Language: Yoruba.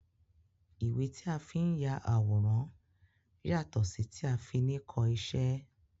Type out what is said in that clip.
Ìwé tí a fi n ya àwòrán yàtọ sí ti a fi ni kọ iṣẹ́.